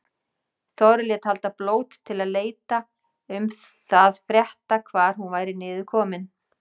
Þorri lét halda blót til að leita um það frétta hvar hún væri niður komin.